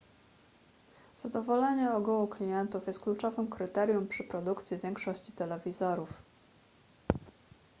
zadowolenie ogółu klientów jest kluczowym kryterium przy produkcji większości telewizorów